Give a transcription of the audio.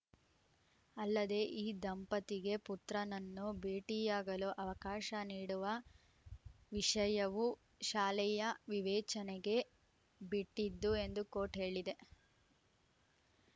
ಅಲ್ಲದೆ ಈ ದಂಪತಿಗೆ ಪುತ್ರನನ್ನು ಭೇಟಿಯಾಗಲು ಅವಕಾಶ ನೀಡುವ ವಿಷಯವು ಶಾಲೆಯ ವಿವೇಚನೆಗೆ ಬಿಟ್ಟಿದ್ದು ಎಂದೂ ಕೋರ್ಟ್‌ ಹೇಳಿದೆ